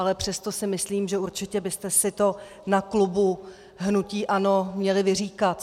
Ale přesto si myslím, že určitě byste si to na klubu hnutí ANO měli vyříkat.